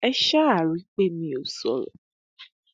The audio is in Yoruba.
ẹ ṣáà rí i pé mi ò sọrọ